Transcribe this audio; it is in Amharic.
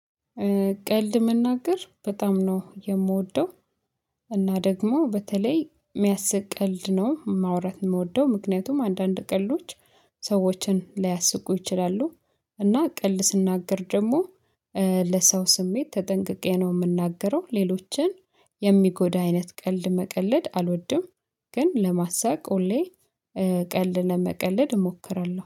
ቀልድ መናገር በጣም ነው የምወደው። እና ደግሞ በተለይ የሚያስቅ ቀልድ ነው ማውራት የምወደው ምክንያቱም አንዳንድ ቀልዶች ሰዎችን ላያስቁ ይችላሉ። እና ቀልድ ስናገር ደግሞ ለሰው ስሜት ተጠንቅቄ ነው የምናገረው ሌሎችን የሚጎዳ አይነት ቀልድ መቀለድ አልወድም። ግን ለማሳቅ ሁሌ ቀልድ ለመቀለድ እሞክራለሁ